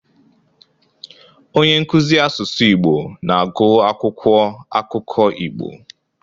Onye nkuzi asụsụ Igbo na-agụ akwụkwọ akụkọ Igbo.